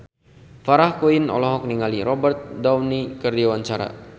Farah Quinn olohok ningali Robert Downey keur diwawancara